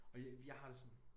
Og jeg har det sådan